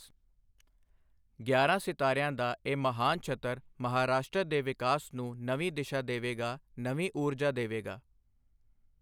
ਗਿਆਰ੍ਹਾਂ ਸਿਤਾਰਿਆਂ ਦਾ ਇਹ ਮਹਾਨਛੱਤਰ, ਮਹਾਰਾਸ਼ਟਰ ਦੇ ਵਿਕਾਸ ਨੂੰ ਨਵੀਂ ਦਿਸ਼ਾ ਦੇਵੇਗਾ, ਨਵੀਂ ਊਰਜਾ ਦੇਵੇਗਾ।